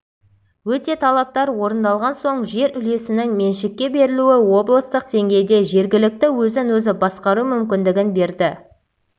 өте талаптар орындалған соң жер үлесінің меншікке берілуі облыстық деңгейде жергілікті өзін-өзі басқару мүмкіндігін берді